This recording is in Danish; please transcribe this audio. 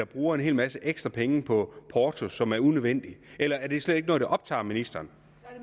bruger en hel masse ekstra penge på porto som er unødvendig eller er det slet ikke noget der optager ministeren